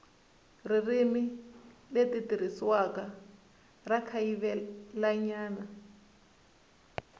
ririmi leri tirhisiwaka ra kayivelanyana